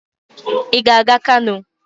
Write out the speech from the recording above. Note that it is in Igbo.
ị ga-aga kano?